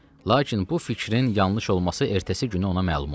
Lakin bu fikrin yanlış olması ertəsi günü ona məlum oldu.